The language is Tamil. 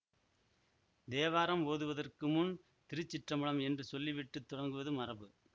தேவாரம் ஓதுவதற்கு முன் திருச்சிற்றம்பலம் என்று சொல்லி விட்டு தொடங்குவது மரபு